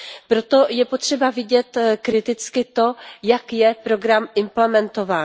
Proto je potřeba vidět kriticky to, jak je program implementován.